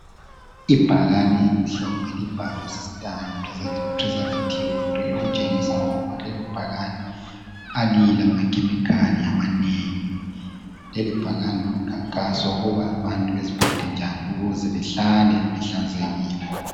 Ibhakani elimhlophe elibhalwe systane preservative free Okutshengisa ukuthi lelo bhakane alila ma chemical amanengi Leli bhakane ngumkhankaso wokuba abantu beziphathe njani ukuba behlale behlanzekile